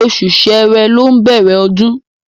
Oṣù ṣẹ́rẹ́ ló ń bẹ̀rẹ̀ ọdún.